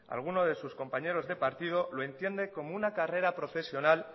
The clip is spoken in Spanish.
alguno de sus compañeros de partido lo entiende como una carrera profesional